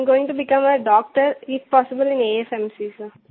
I'm going to become a doctor if possible in AFMC सिर